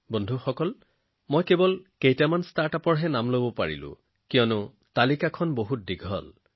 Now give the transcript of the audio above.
বন্ধুসকল ইয়াত মই মাত্ৰ কেইটামান ষ্টাৰ্টআপৰ নাম লব পাৰো কাৰণ তালিকাখন বহুত দীঘল